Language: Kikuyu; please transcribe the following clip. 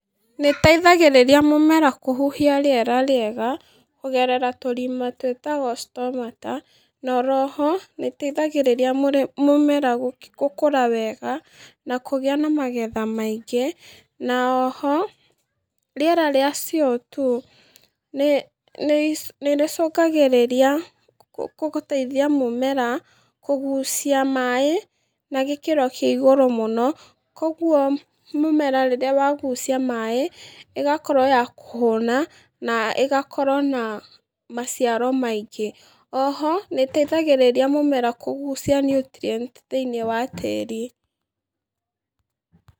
Nĩ ĩteithagĩrĩria mũmera kũhuhia rĩera rĩega kũgerera tũrima twĩtagwo stomata. Na oro ho, nĩ ĩteithagĩrĩria mũmera gũkũra wega, na kũgĩa na magetha maingĩ. Na oho, rĩera rĩa CO2 ni rĩcũngagĩrĩria gũteithia mũmera kũgucia maaĩ na gĩkĩro kĩa igũrũ mũno. Kogwo mũmera rĩrĩa wagucia maaĩ, ĩgakorwo ya kũhũna, na ĩgakorwo na maciaro maingĩ. Oho, nĩ ĩteithagĩrĩria mũmera kũgucia nutrients thĩ-inĩ wa tĩĩri.